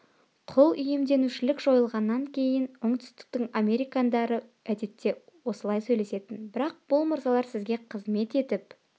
құл иемденушілік жойылғаннан кейін оңтүстіктің американдары әдетте осылай сөйлесетін бірақ бұл мырзалар сізге қызмет етіп